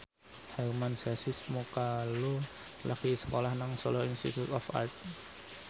Hermann Josis Mokalu lagi sekolah nang Solo Institute of Art